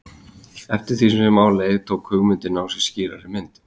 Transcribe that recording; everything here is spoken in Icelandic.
Eftir því sem á leið tók hugmyndin á sig skýrari mynd.